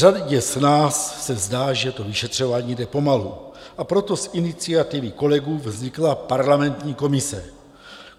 Řadě z nás se zdá, že to vyšetřování jde pomalu, a proto z iniciativy kolegů vznikla parlamentní komise.